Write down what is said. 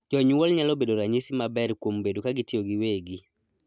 Jonyuol nyalo bedo ranyisi maber kuom bedo kagitiyo giwegi.